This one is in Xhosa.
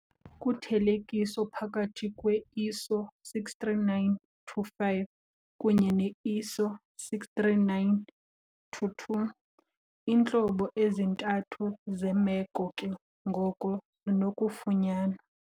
Kuthelekiso phakathi kwe-ISO 639-5 kunye ne-ISO 639-2 iintlobo ezintathu zeemeko ke ngoko zinokufunyanwa.